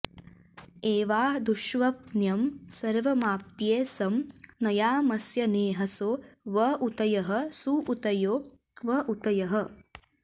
एवा दुष्ष्वप्न्यं सर्वमाप्त्ये सं नयामस्यनेहसो व ऊतयः सुऊतयो व ऊतयः